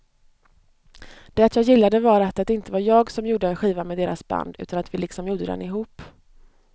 Det jag gillade var att det inte var jag som gjorde en skiva med deras band utan att vi liksom gjorde den ihop.